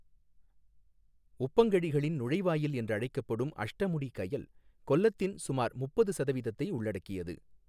உப்பங்கழிகளின் நுழைவாயில் என்று அழைக்கப்படும் அஷ்டமுடி கயல், கொல்லத்தின் சுமார் முப்பது சதவீதத்தை உள்ளடக்கியது.